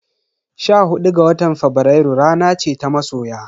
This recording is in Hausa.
Sha hudu ga watan Fabrairu rana ce ta masoya.